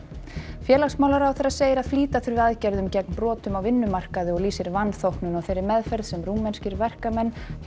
félagsmálaráðherra segir að flýta þurfi aðgerðum gegn brotum á vinnumarkaði og lýsir vanþóknun á þeirri meðferð sem rúmenskir verkamenn hjá